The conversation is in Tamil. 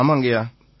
ஆமாங்கய்யா